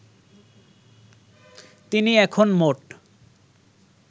তিনি এখন মোট